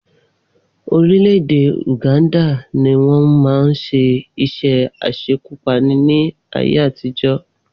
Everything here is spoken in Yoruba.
Orílẹ̀-èdè Uganda ni wọ́n máa ń ṣe iṣẹ́ aṣekúpani ní ayé àtijọ́